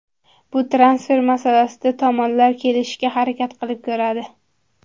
Bu transfer masalasida tomonlar kelishishga harakat qilib ko‘radi.